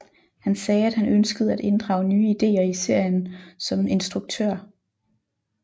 Han sagde at han ønskede at inddrage nye ideer i serien som instruktør